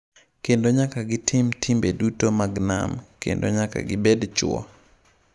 Kendo nyaka gitim timbe duto mag nam, kendo nyaka gibed chwo.